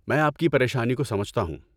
میں آپ کی پریشانی کو سمجھتا ہوں۔